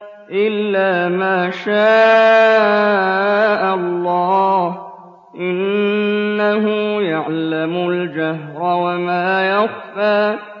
إِلَّا مَا شَاءَ اللَّهُ ۚ إِنَّهُ يَعْلَمُ الْجَهْرَ وَمَا يَخْفَىٰ